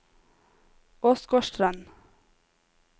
Åsgårdstrand